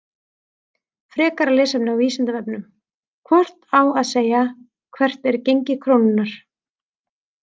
Frekara lesefni á Vísindavefnum: Hvort á að segja Hvert er gengi krónunnar?